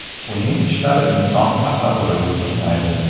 Uning ishlari inson tasavvuriga sig‘maydi.